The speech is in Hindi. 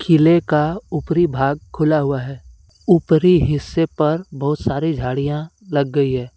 किले का ऊपरी भाग खुला हुआ है ऊपरी हिस्से पर बहुत सारी झाड़ियां लग गई है।